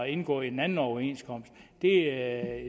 indgå i en anden overenskomst det er